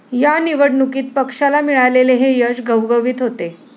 या निवडणुकीत पक्षाला मिळालेले हे यश घवघवीत होते.